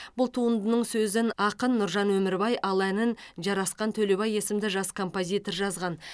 бұл туындының сөзін ақын нұржан өмірбай ал әнін жарасхан төлебай есімді жас композитор жазған